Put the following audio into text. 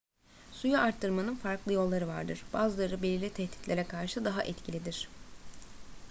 suyu arıtmanın farklı yolları vardır bazıları belirli tehditlere karşı daha etkilidir